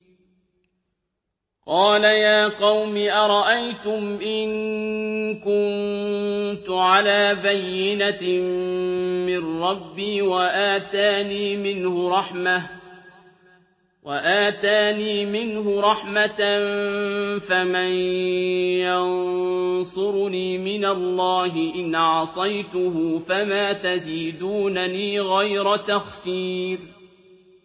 قَالَ يَا قَوْمِ أَرَأَيْتُمْ إِن كُنتُ عَلَىٰ بَيِّنَةٍ مِّن رَّبِّي وَآتَانِي مِنْهُ رَحْمَةً فَمَن يَنصُرُنِي مِنَ اللَّهِ إِنْ عَصَيْتُهُ ۖ فَمَا تَزِيدُونَنِي غَيْرَ تَخْسِيرٍ